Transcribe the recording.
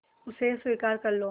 उसे स्वीकार कर लो